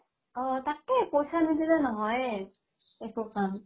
অ, তাকেই পইচা নিদিলে নহয়ে একো কাম